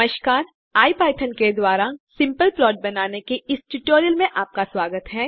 नमस्कार इपिथॉन के द्वारा सिम्पल प्लॉट्स बनाने के इस ट्यूटोरियल में आपका स्वागत है